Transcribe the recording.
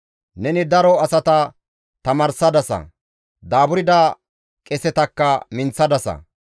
Neni daro asata tamaarsadasa; daaburda qesetakka minththadasa.